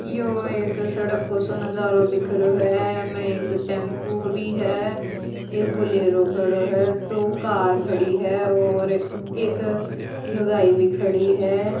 यो एक सड़क को सो नजारों दिख रहाे है इमैं एक टेम्पो भी है एक बोलेरो खड़ा है दो कार खड़ी है और एक लुगाई भी खड़ी है।